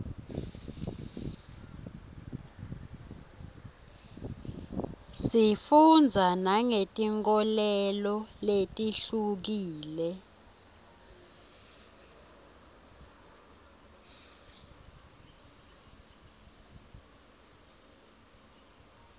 sifundza nangetinkholelo letihlukile